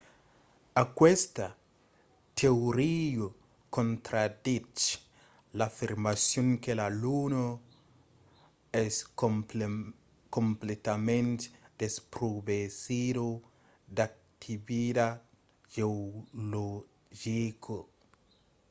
aquesta teoria contraditz l’afirmacion que la luna es completament desprovesida d’activitat geologica